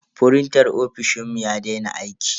Frintan ofishinmu ya daina aiki.